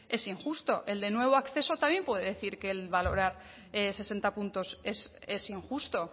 es injusto el de nuevo acceso también puede decir que el valorar sesenta puntos es injusto